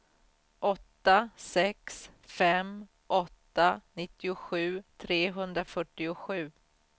åtta sex fem åtta nittiosju trehundrafyrtiosju